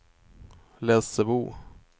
Lessebo